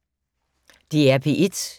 DR P1